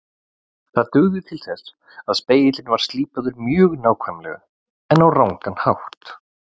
Það dugði til þess að spegillinn var slípaður mjög nákvæmlega en á rangan hátt.